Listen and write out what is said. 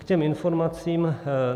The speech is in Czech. K těm informacím.